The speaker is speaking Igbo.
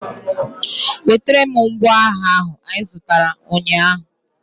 Wetara m ngwa agha ahụ anyị zụtara ụnyaahụ!